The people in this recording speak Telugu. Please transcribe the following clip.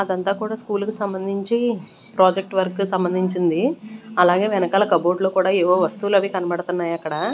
అదంతా కూడా స్కూల్ కి సంబంధించి ప్రాజెక్ట్ వర్క్ కు సంబంధించింది అలాగే వెనకాల కబోర్డ్ లో కూడా ఏవో వస్తువులవి కనబడుతున్నాయి అక్కడ.